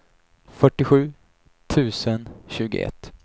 fyrtiosju tusen tjugoett